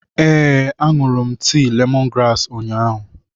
Ee, ahụrụ m tii lemongrass ụnyahụ.